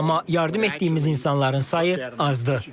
Amma yardım etdiyimiz insanların sayı azdır.